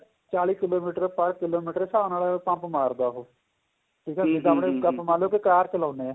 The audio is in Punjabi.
ਚਾਲੀਂ ਕਿਲੋਮੀਟਰ per ਕਿਲੋਮੀਟਰ ਦੇ ਹਿਸਾਬ ਨਾਲ pump ਮਾਰਦਾ ਉਹ ਆਪਾਂ ਮੰਨਲੋ ਕਾਰ ਚਲਾਉਦੇ ਆਂ